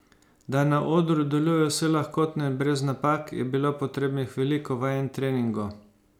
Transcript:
Da na odru deluje vse lahkotno in brez napak, je bilo potrebnih veliko vaj in treningov.